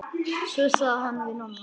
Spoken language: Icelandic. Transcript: Svo sagði hann við Nonna.